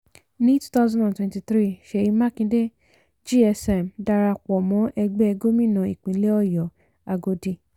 ni twenty twenty three seyi makinde gsm dára pọ̀ mọ́ ẹgbẹ́ gómìnà ìpínlẹ̀ ọ̀yọ́ agodi.